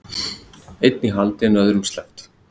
Einn í haldi en öðrum sleppt